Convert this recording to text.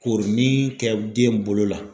Korinin kɛ den bolo la.